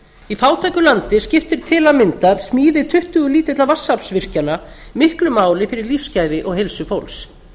í fátæku landi skiptir tam smíði tuttugu lítilla vatnsaflsvirkjana miklu máli fyrir lífsgæði og heilsu fólks